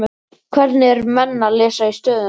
Hvernig eru menn að lesa í stöðuna?